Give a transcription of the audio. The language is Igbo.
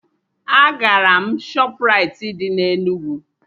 Agara m Shọpraịti dị na Enugu